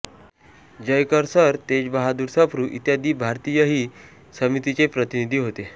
Jayakar sir Tejbahadur Sapru इत्यादी भारतीयही समितीचे प्रतिनिधी होते